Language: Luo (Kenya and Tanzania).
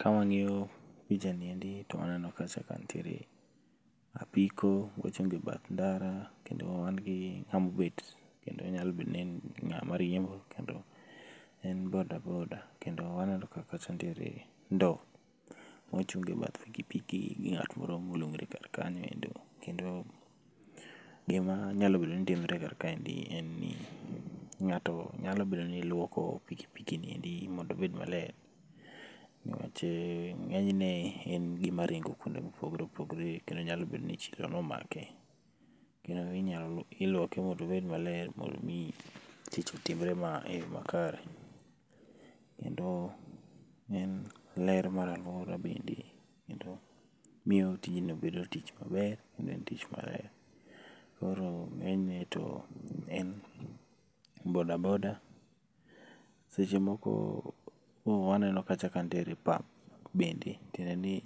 Kawang'iyon pichani endi to waneno kacha ka nitiere apiko mochung' e bath ndara kendo wan gi ng'ama obet kendo nyalo bet ni en ng'ama rembo, kendo en boda boda. Kendo waneno ka kacha nitiere ndoo mochungi ebath piki piki gi ng'at moro molung're kar kanyoendi kendo gima nyalo bedo ni timre kar kaendi, en ni ng'ato nyalo bedo ni luoko piki piki niendi mondo obed maler niwach ng'eny ne en gima ringo kuonde mopogore opogore kendo nyalo bedo ni chilo nomake. Iluoke mondo obed maler mondo mi tich otimre eyo makare kendo en ler mar aluora bende, miyo tijno bedo tich maler kendo en tich maber. Koro ng'eny ne to en boda boda seche moko waneno kacha ka nitiere pump bende tiende ni,